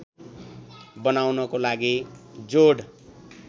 बनाउनको लागि जोड